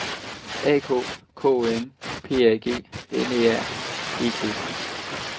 A K K O M P A G N E R E T